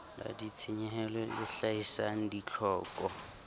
la ditshenyehelo le hlahisang ditlhoko